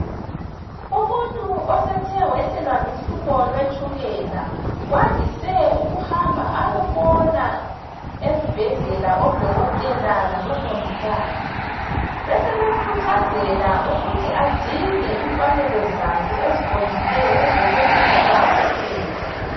Umuntu osethe wehlelwa luhlupho lwetshukela, wandise ukuhamba ayebona ezibhedlela odokotela labomongikazi, besebemkhuthazela ukuthi adinge imfanelo zakhe eziqondileyo ezokwehlisa itshukela